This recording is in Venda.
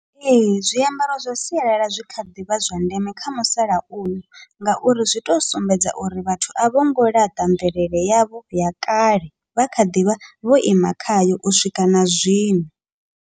Ee, zwiambaro zwa sialala zwi kha ḓivha zwa ndeme kha musalauno, ngauri zwi to sumbedza uri vhathu a vhongo ḽaṱa mvelele yavho ya kale vha kha ḓivha vho ima khayo u swika na zwino.